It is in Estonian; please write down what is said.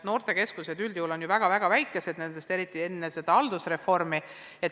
Noortekeskused on üldjuhul ju väga väikesed, eriti olid need seda enne haldusreformi.